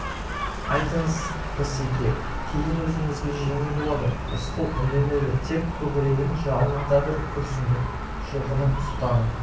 айтыңыз рысеке кейін өзіңізге жеңіл болады рысқұл үндемеді тек көкірегінен жалын ата бір күрсінді жылқының сұлтаны